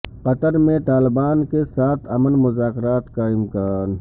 قطر میں طالبان کے ساتھ امن مذاکرات کا امکان